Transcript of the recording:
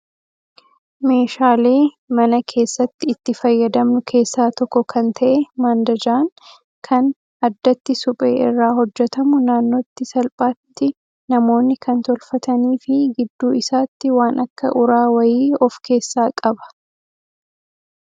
Meeshaalee mana keessatti itti fayyadamnu keessaa tokko kan ta'e mandajaan kan addatti suphee irraa hojjatamu naannootti salphaatti namoonni kan tolfatanii fi gidduu isaatti waan akka uraa wayii of keessaa qaba.